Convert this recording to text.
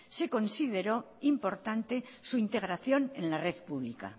se consideró importante la integración en la red pública